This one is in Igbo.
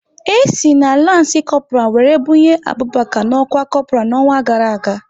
E si na lanci Kopral wéré bunye Abụbaka n'ọkwá Kopral n'ọnwa gara aga